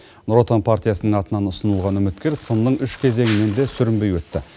нұр отан партиясының атынан ұсынылған үміткер сынның үш кезеңінен де сүрінбей өтті